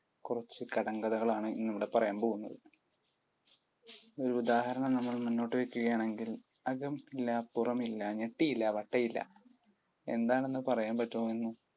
കുറച്ചു കടംകഥകളാണ് ഇന്നിവിടെ പറയാൻ പോകുന്നത്. ഒരു ഉദാഹരണം നമ്മൾ മുന്നോട്ടു വയ്ക്കുകയാണെങ്കിൽ അകം ഇല്ല പുറം ഇല്ല ഞെട്ടിയില്ല വട്ടയില എന്താണെന്ന് പറയുവാൻ പറ്റുമോന്ന്